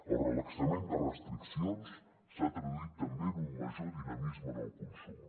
el relaxament de restriccions s’ha traduït també en un major dinamisme en el consum